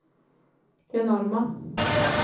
enorma